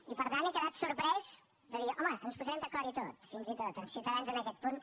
i per tant he quedat sorprès de dir home ens posarem d’acord i tot fins i tot amb ciutadans en aquest punt